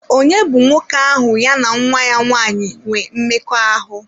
Onye bụ nwoke ahụ ya na nwa ya nwanyị nwee mmekọahụ.